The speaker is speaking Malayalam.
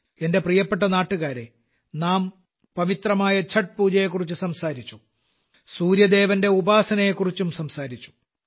എന്റെ പ്രിയപ്പെട്ട നാട്ടുകാരേ നാം പവിത്രമായ ഛഠ് പൂജയെക്കുറിച്ച് സംസാരിച്ചു സൂര്യദേവന്റെ ഉപാസനയെക്കുറിച്ചു സംസാരിച്ചു